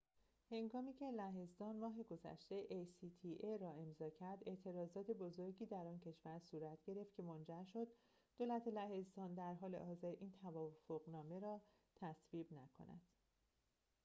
ماه گذشته هنگامی که لهستان acta را امضا کرد اعتراضات بزرگی در آن کشور صورت گرفت که منجر شد دولت لهستان در حال حاضر این توافق نامه را تصویب نکند